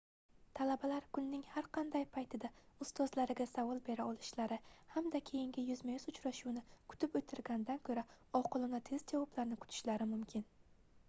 talabalar kunning har qanday paytida ustozlariga savol bera olishlari hamda keyingi yuzma-yuz uchrashuvni kutib oʻtirgandan koʻra oqilona tez javoblarni kutishlari mumkin